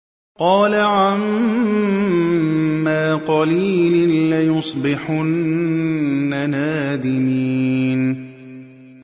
قَالَ عَمَّا قَلِيلٍ لَّيُصْبِحُنَّ نَادِمِينَ